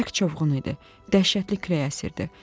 Bərk çovğun idi, dəhşətli külək əsirdi.